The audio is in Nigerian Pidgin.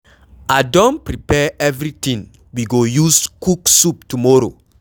I don prepare everything we go use cook soup tomorrow.